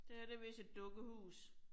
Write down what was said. Det her det vist et dukkehus